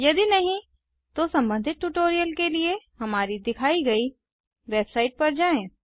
यदि नहीं तो संबंधित ट्यूटोरियल के लिए हमारी दिखायी गयी वेबसाइट पर जाएँ